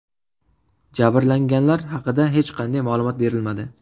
Jabrlanganlar haqida hech qanday ma’lumot berilmadi.